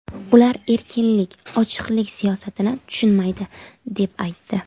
Ular erkinlik, ochiqlik siyosatini tushunmaydi”, deb aytdi .